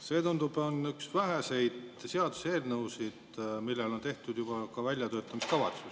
See, tundub, on üks väheseid seaduseelnõusid, millele on tehtud ka väljatöötamiskavatsus.